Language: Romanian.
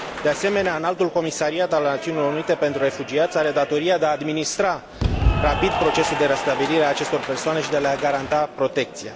De asemenea, Înaltul Comisariat al Națiunilor Unite pentru Refugiați are datoria de a administra rapid procesul de restabilire a acestor persoane și de a le garanta protecție.